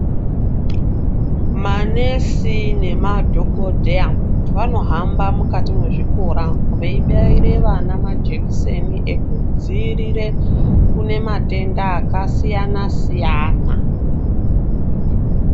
Ma nesi nema dhokodheya vano hamba mukati mezvi kora vei baire vana majekiseni eku dzivirire kune matenda aka siyana siyana.